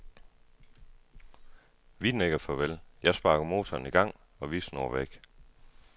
Vi nikker farvel, jeg sparker motoren i gang, og vi snurrer væk.